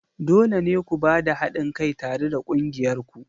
Dole ne ku ba da haɗin kai tare da ƙungiyar ku!